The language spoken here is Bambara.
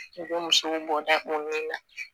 U bɛ musow bɔ da minnu na